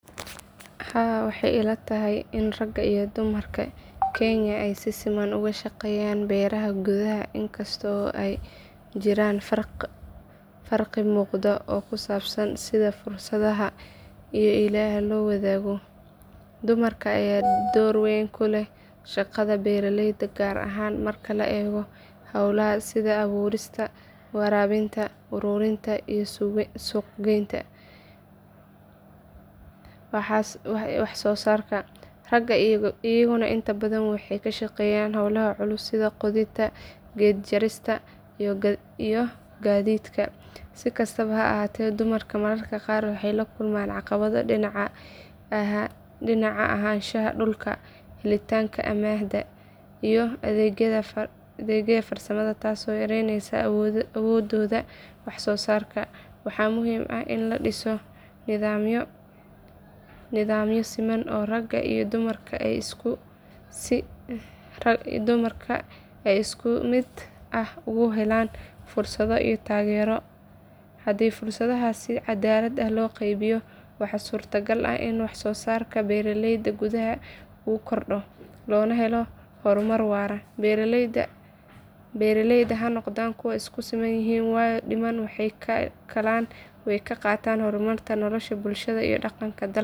haa waxay ilatahy ini raga iyo dumarka kenya aay si siman okashaqeyan beraha gudaha in kasto aay jiran farqi muqdo oo kusabsan sidhaa fursadaha iyo iklaha loo wadhago dumarka ayaa dor weyn kuleh raga shaqada beraleyda gar ahan marka laa ego howlaha sidha aburista, warabinta, arurinta iyoh suq geynta wax sosarka raga ayagana intabadhan waxay kashaqeyan howlaha culus sidha qodida ged jarista iyo gadidka sikastaba haa ahate dumarka mararka qar waxay lakuman caqibado dinaca ahanshaha dulka dalitanka amanha iyo adegyada farsamada tasi oo yareyneysa, awododha wax sosarka waxa muhim ah ini ladiso nidamyo siman raga iyo dumarka isku mid ah aay uhelan fursadho iyo tagero hadi fursadahas sii cadalad ah, loqeybiyo waxa surta gar ah ini wax sosarka beraleyda gudaha uu fardo lona helo hormar wara beraleyda hanoqdan kuwa iskusimanyihin wayo daman waxay kakalan way kaqatan hormarka bulshada iyo daqanka dalaga.